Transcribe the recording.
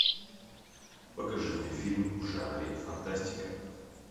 покажи мне фильм в жанре фантастика